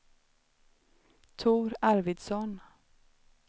Tor Arvidsson